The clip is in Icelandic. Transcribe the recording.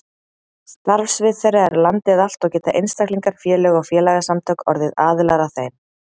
Starfsvið þeirra er landið allt og geta einstaklingar, félög og félagasamtök orðið aðilar að þeim.